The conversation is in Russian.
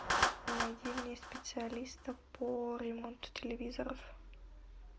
найди мне специалиста по ремонту телевизоров